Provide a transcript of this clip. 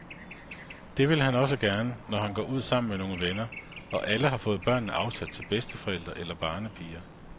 Det vil han også gerne, når han går ud sammen med nogle venner, og alle har fået børnene afsat til bedsteforældre eller barnepiger.